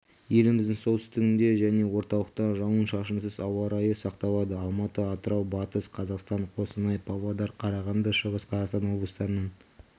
еліміздің солтүстігінде және орталықта жауын-шашынсыз ауа-райы сақталады алматы атырау батыс қазақстан қостанай павлодар қарағанды шығыс-қазақстан облыстарының